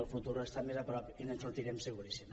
el futur està més a prop i ens en sortirem seguríssim